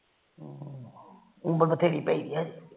ਉਮਰ ਤਾ ਬਥੇਰੀ ਪਈ ਏ